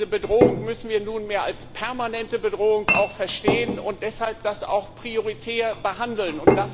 Diese Bedrohung müssen wir nunmehr als permanente Bedrohung verstehen und deshalb das auch prioritär behandeln.